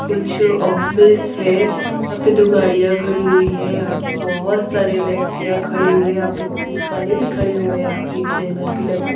कुछ ऑफिस है यहां पे दो गाड़ियां खड़ी हुई हैं यहां पे बहोत सारे व्यक्तियां खड़े हुए यहां पे पुलिस वाले भी खड़े हुए यहां पे आप एक बैनर भी लगा--